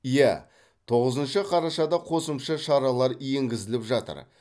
иә тоғызыншы қарашада қосымша шаралар енгізіліп жатыр